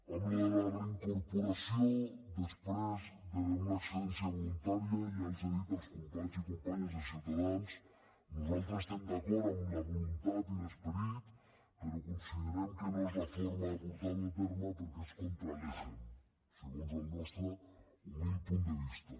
en allò de la reincorporació després d’una excedència voluntària ja els ho he dit als companys i companyes de ciutadans nosaltres estem d’acord amb la voluntat i l’esperit però considerem que no és la forma de portar ho a terme perquè és contra legem segons el nostre humil punt de vista